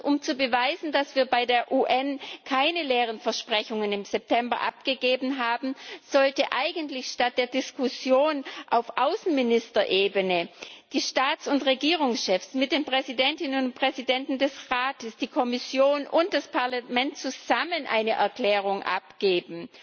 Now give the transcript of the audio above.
Um zu beweisen, dass wir im September bei der UN keine leeren Versprechungen abgegeben haben, sollten eigentlich statt der Diskussion auf Außenministerebene die Staats und Regierungschefs mit den Präsidentinnen und Präsidenten des Rates, die Kommission und das Parlament zusammen eine Erklärung abgeben.